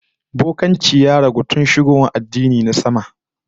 Bokanci ya ragu tun shigowa addinai na sama